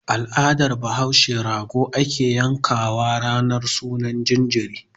Al'adan bahaushe rago ake yan kawa ranar sunan jariri.